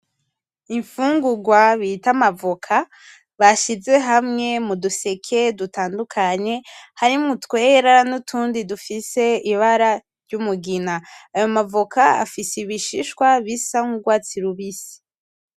Imfungurwa bita amavoka, bashize hamwe muduseke dutandukanye , harimwo utwera n'utundi dufise ibara ry'umugina, ayo mavoka afise ibishishwa bisa nk'urwatsi rubisi.